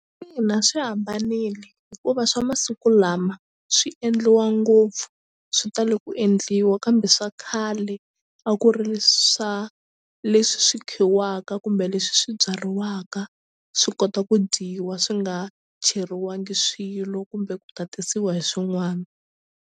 Ina swi hambanile hikuva swa masiku lama swi endliwa ngopfu swi tala ku endliwa kambe swa khale a ku ri swa leswi swi khiwaka kumbe leswi swi byariwaka swi kota ku dyiwa swi nga cheriwangi swilo kumbe ku tatisiwa hi swin'wana.